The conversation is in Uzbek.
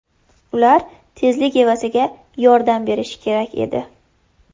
Ular tezlik evaziga yordam berishi kerak edi.